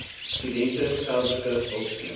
studente geldelike hulpskema